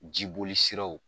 Jiboli siraw